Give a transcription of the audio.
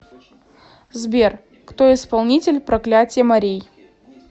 сбер кто исполнитель проклятье морей